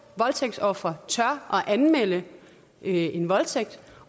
voldtægtsofre tør at anmelde en voldtægt